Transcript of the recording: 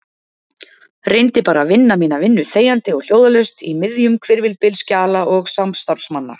Reyndi bara að vinna mína vinnu þegjandi og hljóðalaust í miðjum hvirfilbyl skjala og samstarfsmanna.